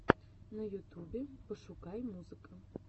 на ютубе пошукай музыка